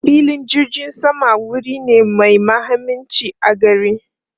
Filin jirgin sama wuri ne mai mahimmanci a gari.